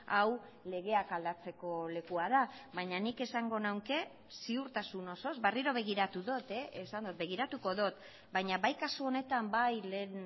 hau legeak aldatzeko lekua da baina nik esango nuke ziurtasun osoz berriro begiratu dut e esan dut begiratuko dut baina bai kasu honetan bai lehen